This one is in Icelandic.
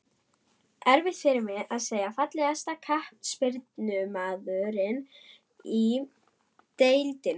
Erfitt fyrir mig að segja Fallegasti knattspyrnumaðurinn í deildinni?